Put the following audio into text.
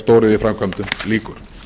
stóriðjuframkvæmdum lýkur herra